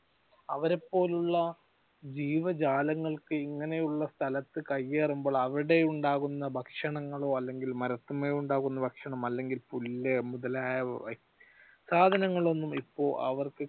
അവരെപോലുള്ള ജീവജാലങ്ങൾക്ക് ഇങ്ങനെയുള്ള സ്ഥലത്തു കയ്യേറുമ്പോൾ അവിടെയുണ്ടാകുന്ന ഭക്ഷണങ്ങളോ അല്ലെങ്കിൽ മരത്തിന്മേൽ ഉണ്ടാകുന്ന ഭക്ഷണം അല്ലെങ്കിൽ പുല്ല് മുതലായവ സാധനങ്ങൾ ഒന്നും ഇപ്പൊ അവർക്ക്